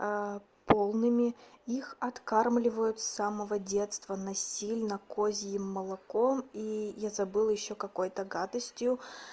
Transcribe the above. полными их откармливают с самого детства насильно козьим молоком и я забыла ещё какой-то гадостью